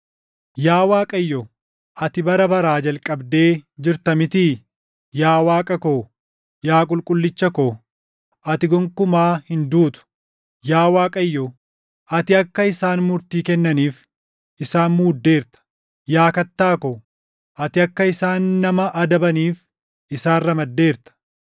Yaa Waaqayyo, ati bara baraa jalqabdee jirta mitii? Yaa Waaqa ko, yaa Qulqullicha ko, ati gonkumaa hin duutu. Yaa Waaqayyo, ati akka isaan murtii kennaniif // isaan muuddeerta; yaa Kattaa ko, ati akka isaan nama adabaniif isaan ramaddeerta.